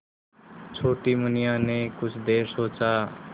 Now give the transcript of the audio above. छोटी मुनिया ने कुछ देर सोचा